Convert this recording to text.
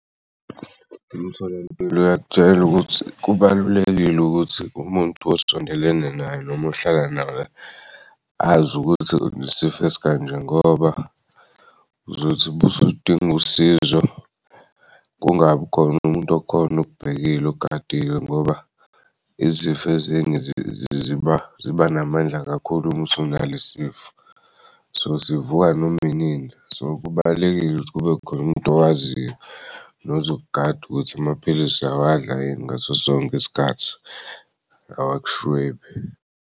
Imitholampilo yakutshela ukuthi kubalulekile ukuthi umuntu osondelene naye noma ohlala naye azi ukuthi unesifo esikanje ngoba uzothi busuding'usizo kungabi khona umuntu okhon'okubhekile ogadile ngoba izifo ezinye ziba namandla kakhulu uma usunale'sifo so sivuka nom'inini. So kubalulekile ukuthi kube khona umuntu owaziyo nozokugada ukuthi amaphilisi uyawadla yini ngaso sonke isikhathi awakushwebi.